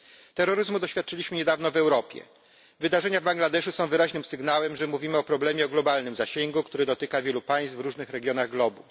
Terroryzmu doświadczyliśmy niedawno w Europie, wydarzenia Bangladeszu są wyraźnym sygnałem, że mówimy o problemie o globalnym zasięgu, który dotyka wielu państw w różnych regionach globu.